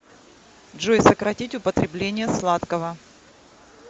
джой сократить употребление сладкого